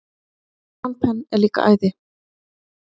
Sean Penn er líka æði.